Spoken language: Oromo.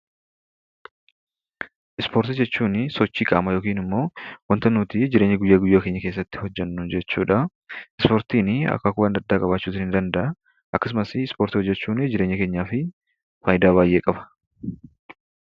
Ispoortii jechuunii sochii qaamaa yookin immoo wanta nutii jireenya guyyaa guyyaa keenya keessatti hojjennu jechuudhaa. Ispoortiinii akaakuu adda addaa qabaachuu nii danda'aa. Akkasumas ispoortii hojjechuunii jireenya keenyaafii faayidaa baay'ee qaba.